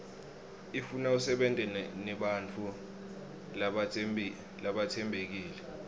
ifuna usebente nebantfu labatsembekile